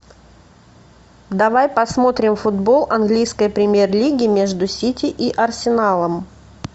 давай посмотрим футбол английской премьер лиги между сити и арсеналом